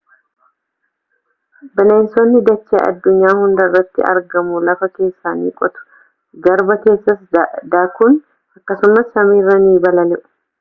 bineensonni dachee addunyaa hundarratti argamu.lafa keessa ni qotu garba keessas daakuun akkasumas samiirra ni balali’u